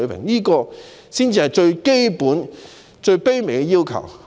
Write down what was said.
這是我們最基本和最卑微的要求。